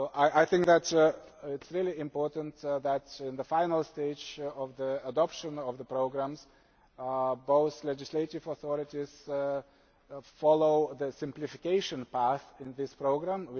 I think that it is really important that in the final stage of the adoption of the programmes, both legislative authorities follow the simplification path in this programme.